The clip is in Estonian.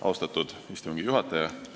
Austatud istungi juhataja!